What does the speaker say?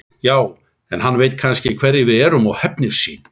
Já, en hann veit kannski hverjir við erum og hefnir sín.